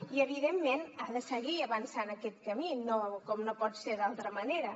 i evidentment ha de seguir avançant en aquest camí com no pot ser d’altra manera